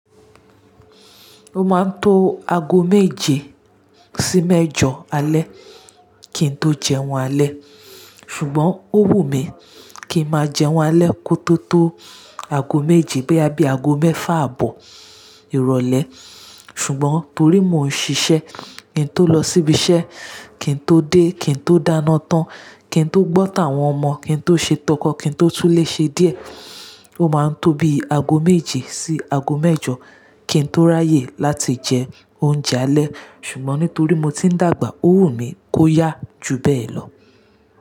Ó máa ń to aago méje sí mẹ́jọ alẹ́ kín tó jẹun alẹ́. Ṣùgbọ́n ó wù mí kí ń máa jẹun alẹ́ kótó tó aago méje boyá bí aago mẹ́fà àbọ̀ ìrọ̀lẹ́. Ṣùgbọ́n torí mò ń ṣiṣẹ́, kí n tó lọ síbi iṣẹ́, kí n tó dé, kí n tó dáná tán, kí n tó gbọ́tà àwọn ọmọ, kí n tó ṣe tọkọ, kí n tó túnlé ṣe díẹ̀. Ó máa ń tóbi aago méje sí aago mẹ́jọ kí n tó ráyè láti jẹ oúnjẹ alẹ́. Ṣùgbọ́n nítorí mo ti ń dàgbà, ó wù mí kó yá ju bẹ́ẹ̀ lọ.